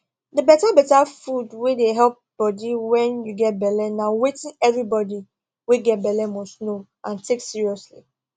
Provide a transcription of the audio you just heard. the better better food wey dey help body wen you get belle na wetin every body wey get belle must know and take seriously